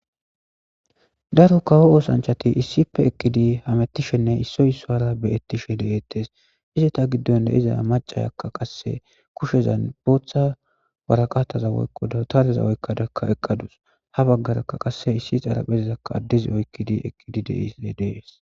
daro kawo oosanchati issife ekidi hamettishenne issoy issuwara beyettishe deettes izeta giddon de'iza macayakka qasse kushezan booththa waraqataza woykko dawutarazakka oykadakka eqqadus ha baggaraka qasse issi xalapheizakka addezi oykkidi ekidi dees